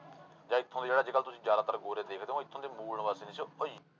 ਜਾਂ ਇੱਥੋਂ ਜਿਹੜਾ ਅੱਜ ਕੱਲ੍ਹ ਤੁਸੀਂ ਜ਼ਿਆਦਾਤਰ ਗੌਰੇ ਦੇਖਦੇ ਹੋ ਉਹ ਇੱਥੋਂ ਦੇ ਮੂਲ ਨਿਵਾਸੀ ਨੀ ਸੀ ਉਹ